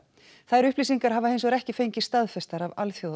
þær upplýsingar hafa hinsvegar ekki fengist staðfestar af